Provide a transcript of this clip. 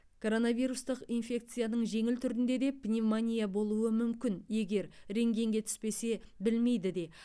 коронавирустық инфекцияның жеңіл түрінде де пневмония болуы мүмкін егер рентгенге түспесе білмейді де